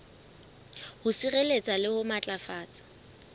ho sireletsa le ho matlafatsa